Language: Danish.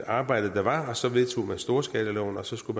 arbejde der var og så vedtog man storskalaloven og så skulle